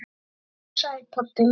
Komdu nú sæll, pabbi minn.